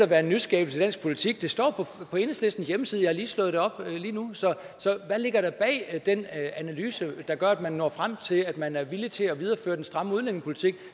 være en nyskabelse i dansk politik det står på enhedslistens hjemmeside jeg slået det op lige nu så hvad ligger der bag den analyse der gør at man når frem til at man er villig til at videreføre den stramme udlændingepolitik